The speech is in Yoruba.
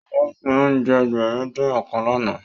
Òun ló pín oúnjẹ Ẹgbẹ̀rin-dín-ọ̀kan lánàá